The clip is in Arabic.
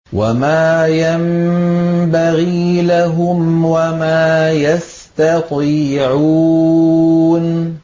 وَمَا يَنبَغِي لَهُمْ وَمَا يَسْتَطِيعُونَ